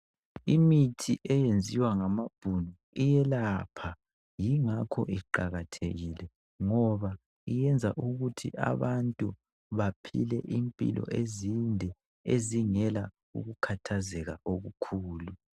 Imithi eyenziwa ngamaBhunu iyelapha, yingakho iqakathekile ngoba iyenza ukuthi abantu baphile impilo ezinde, ezingela ukukhathazeka okukhulu.